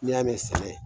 N'i y'a mɛn sɛnɛ